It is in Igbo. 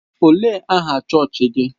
Ọ léé aha chọọchị gị?